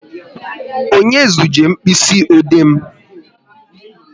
Onye zuje mkpịsị ode m?